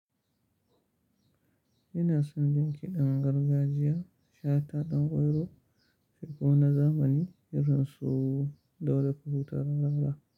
Ina son jin kiɗan gargajiya, shata ɗan kwairo, sardaunan zamani, irin su, dauda kahutu rarara.